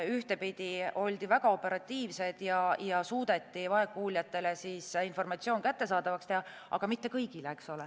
Ühtpidi oldi väga operatiivsed ja suudeti vaegkuuljatele informatsioon kättesaadavaks teha, aga mitte kõigile.